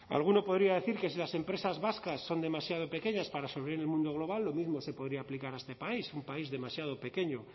alguno podría decir que si las empresas vascas son demasiado pequeñas para sobrevivir en el mundo global lo mismo se podría aplicar a este país un país demasiado pequeño